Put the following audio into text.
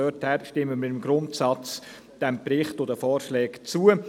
Daher stimmen wir diesem Grundsatz, dem Bericht und den Vorschlägen zu.